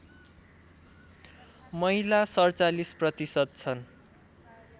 महिला ४७ प्रतिशत छन्